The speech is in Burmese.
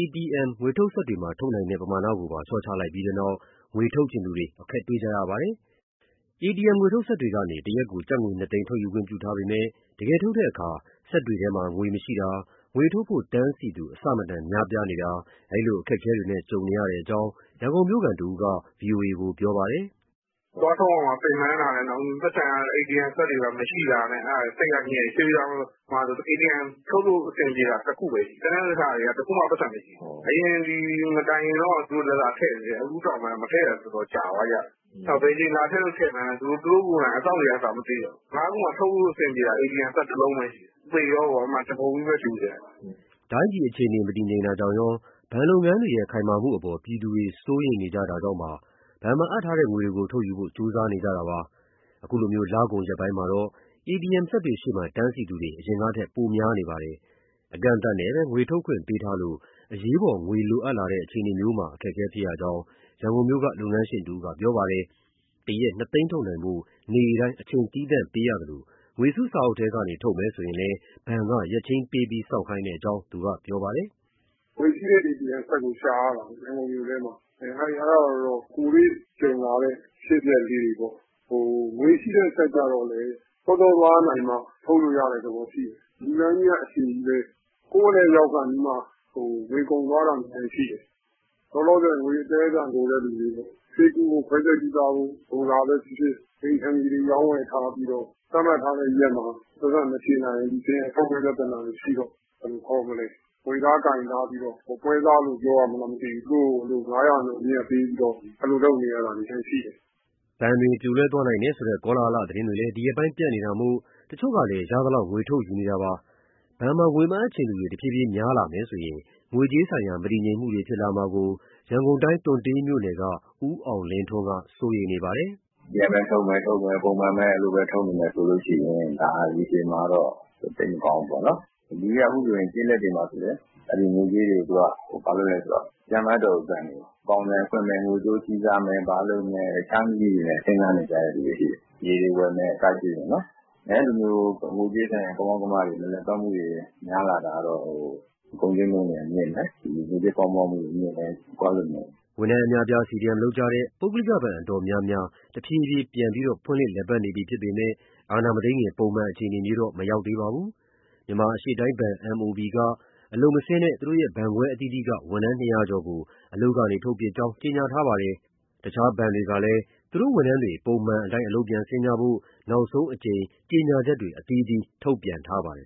ATM ငွေထုတ်စက်တွေမှာ ထုတ်နိုင်တဲ့ ပမာဏကိုပါ လေ ျှာ့ချလိုက်ပြီးနောက် ငွေထုတ်ချင်သူတွေ အခက်တွေ့ကြရပါတယ်။ ATM ငွေထုတ်စက်တွေကနေ တရက်ကို ကျပ်ငွေ ၂ သိန်း ထုတ်ယူခွင့်ပြုထားပေမဲ့ တကယ်ထုတ်တဲ့အခါ စက်ထဲငွေမရှိတာ၊ ငွေထုတ်ဖို့ တန်းစီသူ အဆမတန် များပြားနေတာ ဒီလိုအခက်အခဲတွေနဲ့ ကြုံနေရကြောင်း ရန်ကုန်မြို့ခံတဦးက ဗွီအိုအေကို ပြောပါတယ်။ “သွားထုတ်ရမှာ ပင်ပန်းတာနဲ့ နောက်ပြီး ပိုက်ဆံက ATM စက်တွေမှာ မရှိတာနဲ့ စိတ်ကညစ်၊ ရွှေပြည်သာမှာဆို ATM ထုတ်လို့အဆင်ပြေတာ တခုပဲရှိတယ်။ ကျန်တဲ့ဟာတွေက တခုမှပိုက်ဆံမရှိဘူး။ အရင်ဒီမတိုင်ခင်က သူတို့လာလာထည့်သေးတယ် အခုနောက်ပိုင်း မထည့်တာ တော်တော်ကြာသွားကြပြီ။ ဘယ်အချိန်လာထည့်လို့ထည့်မှန်း သူတို့အစောင့်တွေ ကိုယ်တိုင်က မသိတော့ဘူး။ ငါးခုမှာ ထုတ်လို့အဆင်ပြေတာ ၁ လုံးပဲရှိတယ် အဲဒီတော့ သေရောပေါ့ လူတွေက တပုံကြီးပဲ။” တိုင်းပြည်အခြေအနေ မတည်ငြိမ်တာရော၊ ဘဏ်လုပ်ငန်းတွေရဲ့ ခိုင်မာမှုအပေါ် ပြည်သူတွေ စိုးရိမ်နေကြတာကြောင့် ဘဏ်မှာအပ်ထားတဲ့ ငွေတွေကို ထုတ်ယူဖို့ ကြိုးစားနေကြတာဖြစ်ပါတယ်။ အခုလို လကုန်ရက်ပိုင်းမှာတော့ ATM စက်တွေရှေ့တန်းစီသူတွေ အရင်ထက် ပိုများနေပါတယ်။ အကန့်အသတ်နဲ့ပဲ ငွေထုတ်ခွင့်ပေးထားလို့ အရေးပေါ်ငွေလိုအပ်လာတဲ့ အခြေအနေမျိုးမှာ အခက်အခဲဖြစ်ရကြောင်း ရန်ကုန်မြို့က လုပ်ငန်းရှင်တဦးက ပြောပါတယ်။ တရက် ၂ သိန်းထုတ်နိုင်ဖို့ နေ့တိုင်း အချိန်သီးသန့်ပေးရသလို ငွေစုစာအုပ်ထဲက ထုတ်မယ်ဆိုရင်လည်း ဘဏ်က ရက်ချိန်းပေးပြီး စောင့်ခိုင်းကြောင်း သူကပြောပါတယ်။ “ငွေရှိတဲ့ ATM စက်ကိုရှာရတာပေါ့ ရန်ကုန်မြို့ထဲမှာ။ အဲဒါကတော့ ကိုယ်တွေ့ကြုံလာရတဲ့ အဖြစ်အပျက်ပေါ့၊ ငွေရှိတဲ့စက်ကျတော့လည်း စောစောသွားနိုင်မှ ထုတ်လို့ရတဲ့သဘောရှိတယ်။ လူတန်းကြီးက အရှည်ကြီးပဲ၊ ကိုယ့်အလှည့်ရောက်ခါနီးမှ ငွေကုန်သွားတာလည်း ရှိတယ်။ လောလောဆယ် ငွေအသည်းအသန်လိုတဲ့သူတွေ ဆေးကုဖို့၊ ခွဲစိတ်ကုသဖို့ လိုတာပဲဖြစ်ဖြစ်၊ အိမ်ခြံမြေတွေ ရောင်းဝယ်ထားပြီးတော့ သတ်မှတ်ထားတဲ့ရက်မှာ ပိုက်ဆံမချေနိုင်မချင်း ထုတ်ဖို့ပြဿနာတွေရှိတော့ ဘယ်လိုခေါ်မလဲ ငွေသားကိုင်ထားပြီး ပွဲစားလို့ပြောရမလား သူတို့ကို ၅ ရာခိုင်နှုန်း အမြတ်ပေးပြီးတော့ အဲလိုထုတ်နေရတာတွေ ရှိတယ်။” ဘဏ်တွေပြိုလဲသွားနိုင်တယ်ဆိုတဲ့ ကောလဟာလသတင်းတွေလည်း ဒီရက်ပိုင်း ပြန့်နေတာမို့ တချို့ကလည်း ရသလောက် ငွေထုတ်ယူနေတာတွေ ရှိပါတယ်။ ဘဏ်မှာ ငွေမအပ်ချင်သူတွေ တဖြည်းဖြည်း များလာမယ်ဆိုရင် ငွေကြေးဆိုင်ရာ မတည်ငြိမ်မှုတွေ ဖြစ်လာမှာကို ရန်ကုန်တိုင်း တွံ့တေးမြို့နယ်က ဦးအောင်လင်းထွန်းက စိုးရိမ်နေပါတယ်။ “ပြန်ပဲထုတ်မယ် ပုံမှန်ပဲထုတ်နေမယ်ဆိုရင် ဒါရေရှည်မှာတော့ သိပ်မကောင်းဘူးပေါ့နော်။ လူတွေက အခုဆိုရင် ကျေးလက်တွေမှာလည်း အဲဒီငွေကြေးတွေကို ဘာလုပ်လဲဆိုတော့ ပြန်မအပ်တော့ဘူး ဘဏ်တွေကို၊ အပေါင်ဆိုင်ဖွင့်မယ်၊ ငွေတိုးချေးစားမယ်၊ ဘာလုပ်မယ် အခြားနည်းလမ်းနဲ့ စဉ်းစားနေကြတာရှိတယ် မြေတွေဝယ်မယ် အစရှိသည်ဖြင့်ပေါ့။ အဲလိုမျိုး ငွေကြေးဆိုင်ရာ ကမောက်ကမတွေ မလည်ပတ်မှုတွေ များလာတာကတော့ ကုန်ဈေးနှုန်းတွေ မြင့်မယ်၊ ငွေကြေးဖောင်းပွမှုမြင့်မယ် အဲလိုမြင်တယ်။” ဝန်ထမ်းအများအပြား CDM လုပ်ကြတဲ့ ပုဂ္ဂလိကဘဏ်တော်တော်များများ တဖြည်းဖြည်း ပြန်လည် ဖွင့်လှစ် လည်ပတ်နေပြီဖြစ်ပေမဲ့ အာဏာမသိမ်းခင် ပုံမှန်အခြေအနေမျိုးတော့ မဟုတ်သေးပါဘူး။ မြန်မာအရှေ့တိုင်းဘဏ် MOB က အလုပ်မဆင်းတဲ့ ဘဏ်ခွဲအသီးသီးက ဝန်ထမ်း ၂၀၀ ကျော်ကို အလုပ်ကနေ ထုတ်ပစ်ကြောင်း ကြေညာထားပါတယ်။ တခြားဘဏ်တွေကလည်း သူတို့ဝန်ထမ်းတွေ ပုံမှန်အတိုင်း အလုပ်ပြန်ဆင်းကြဖို့ နောက်ဆုံးအကြိမ် ကြေညာချက်တွေ အသီးသီး ထုတ်ပြန်ထားကြပါတယ်